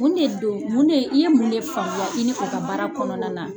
Mun de don mun ne i ye mun de faamuya i ni u ka baara kɔnɔna na.